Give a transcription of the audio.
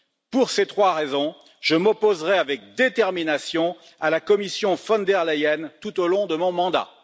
Pour ces trois raisons, je m'opposerai avec détermination à la Commission von der Leyen tout au long de mon mandat.